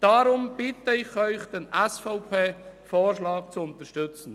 Darum bitte ich Sie, den SVP-Vorschlag zu unterstützen.